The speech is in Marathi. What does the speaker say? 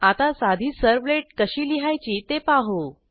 आता साधी सर्व्हलेट कशी लिहायची ते पाहू